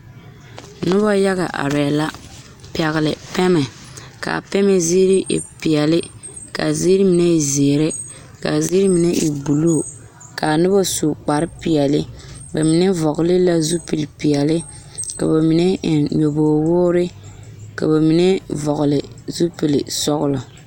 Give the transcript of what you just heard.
Noba yaga arɛɛ la pɛgle pɛmɛ k,a pɛmɛ ziiri e peɛle k,a ziiri mine e zeere k,a ziiri mine e bulu k,a noba su kparepeɛle ba mine vɔgle la zupilipeɛle ka ba mine eŋ nyɔbogwoore ka ba mine vɔgle zupilisɔglɔ.